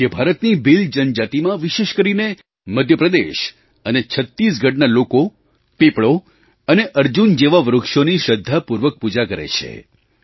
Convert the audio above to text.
મધ્ય ભારતની ભીલ જનજાતિમાં વિશેષ કરીને મધ્ય પ્રદેશ અને છત્તીસગઢના લોકો પીપળો અને અર્જુન જેવાં વૃક્ષોની શ્રદ્ધાપૂર્વક પૂજા કરે છે